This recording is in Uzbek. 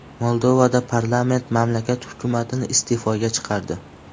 Moldovada parlament mamlakat hukumatini iste’foga chiqardi .